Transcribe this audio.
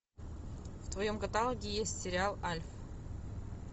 в твоем каталоге есть сериал альф